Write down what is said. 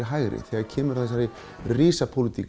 hægri þegar kemur að þessari